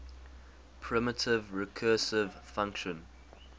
primitive recursive function